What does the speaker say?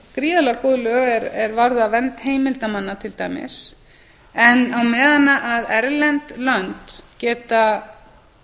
gríðarlega góð lög er varða vernd heimildarmanna til dæmis en á meðan erlend lönd geta